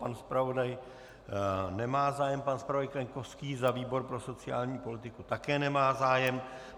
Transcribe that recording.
Pan zpravodaj nemá zájem, pan zpravodaj Kaňkovský za výbor pro sociální politiku také nemá zájem.